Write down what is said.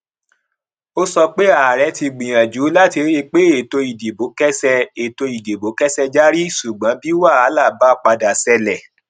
ó sọ pé ààrẹ ti gbìyànjú láti ríi pé ètò ìdìbò kẹsẹ ètò ìdìbò kẹsẹ járí ṣùgbọn bí wàhálà bá padà ṣẹlẹ